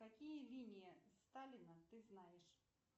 какие линии сталина ты знаешь